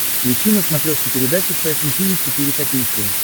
включи на смотрешке передачу фэшн ти ви четыре ка